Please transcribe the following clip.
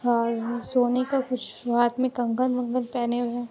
और यहाँ सोने का कुछ हाथ में कंगन-वंगन पहने हुए --